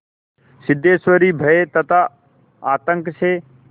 सिद्धेश्वरी भय तथा आतंक से